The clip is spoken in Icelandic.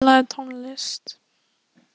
Hafþóra, spilaðu tónlist.